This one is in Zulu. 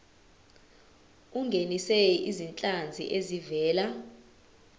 ungenise izinhlanzi ezivela